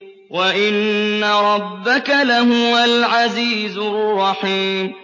وَإِنَّ رَبَّكَ لَهُوَ الْعَزِيزُ الرَّحِيمُ